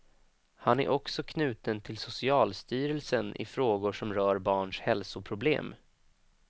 Han är också knuten till socialstyrelsen i frågor som rör barns hälsoproblem.